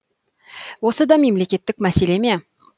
осы да мемлекеттік мәселе ме